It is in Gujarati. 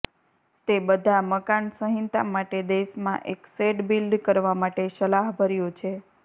તે બધા મકાન સંહિતા માટે દેશમાં એક શેડ બિલ્ડ કરવા માટે સલાહભર્યું છે